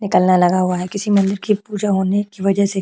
निकलना लगा हुआ है किसी मंदिर की पूजा होने की वजह से-